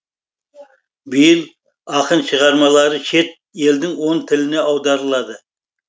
биыл ақын шығармалары шет елдің он тіліне аударылады